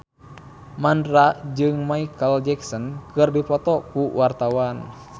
Mandra jeung Micheal Jackson keur dipoto ku wartawan